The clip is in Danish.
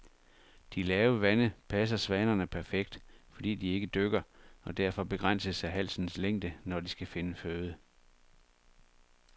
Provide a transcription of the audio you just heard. De lave vande passer svanerne perfekt, fordi de ikke dykker og derfor begrænses af halsens længde, når de skal finde føde.